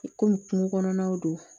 Komi kungo kɔnɔnaw don